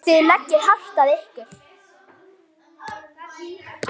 Þið leggið hart að ykkur.